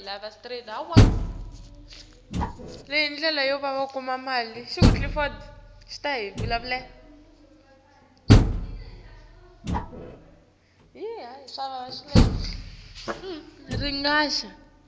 asifundzisa kwenta imisebenti